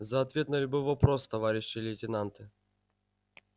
за ответ на любой вопрос товарищи лейтенанты